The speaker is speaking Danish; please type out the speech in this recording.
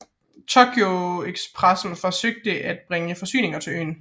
Tokyo Expressen forsøgte fortsat at bringe forsyninger til øen